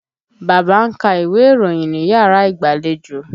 Bàbá ń ka iwe ìròyìn níyàrá ìgbàlejò.